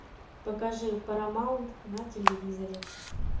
покажи парамаунт на телевизоре